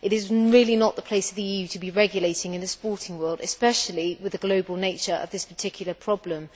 It is really not the place of the EU to be regulating in the sporting world, especially with the global nature of this particular problem.